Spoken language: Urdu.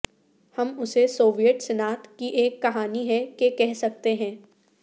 ہم اسے سوویت صنعت کی ایک کہانی ہے کہ کہہ سکتے ہیں